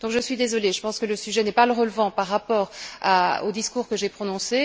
Donc, je suis désolée, je pense que le sujet n'est pas pertinent par rapport au discours que j'ai prononcé.